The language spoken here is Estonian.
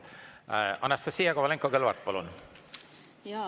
Anastassia Kovalenko-Kõlvart, palun!